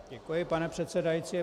Děkuji, pane předsedající.